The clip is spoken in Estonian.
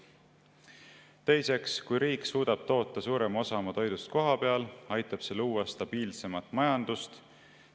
Teiseks, kui riik suudab toota suurema osa oma toidust kohapeal, aitab see luua stabiilsemat majandust.